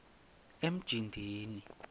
emjindini